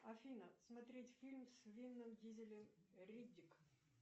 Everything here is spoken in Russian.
афина смотреть фильм с вином дизелем риддик